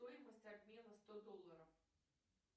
стоимость обмена сто долларов